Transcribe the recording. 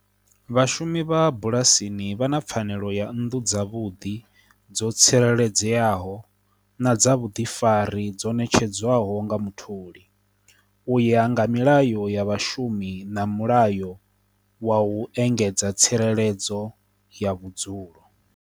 Vhashumi vha bulasini vha na pfanelo ya nnḓu dza vhuḓi dzo tsireledzeaho, na dza vhuḓifari dzo netshedzwaho nga mutholi, u ya hanga milayo ya vhashumi na mulayo wa u engedza tsireledzo ya vhudzulo.